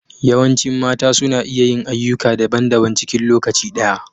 Yawancin mata suna iya yin ayyuka da daban -daban cikin lokaci ɗaya.